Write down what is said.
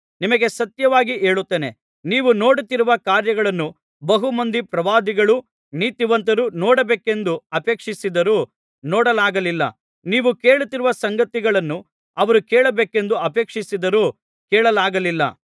ನಿಮಗೆ ಸತ್ಯವಾಗಿ ಹೇಳುತ್ತೇನೆ ನೀವು ನೋಡುತ್ತಿರುವ ಕಾರ್ಯಗಳನ್ನು ಬಹು ಮಂದಿ ಪ್ರವಾದಿಗಳೂ ನೀತಿವಂತರೂ ನೋಡಬೇಕೆಂದು ಅಪೇಕ್ಷಿಸಿದರೂ ನೋಡಲಾಗಲಿಲ್ಲ ನೀವು ಕೇಳುತ್ತಿರುವ ಸಂಗತಿಗಳನ್ನು ಅವರು ಕೇಳಬೇಕೆಂದು ಅಪೇಕ್ಷಿಸಿದರೂ ಕೇಳಲಾಗಲಿಲ್ಲ